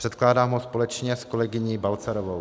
Předkládám ho společně s kolegyní Balcarovou.